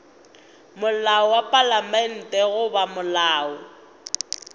molao wa palamente goba molao